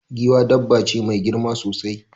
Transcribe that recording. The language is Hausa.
Giwa dabba ce mai girma sosai.